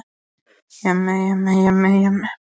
Farinn að stunda betl á gangstéttunum!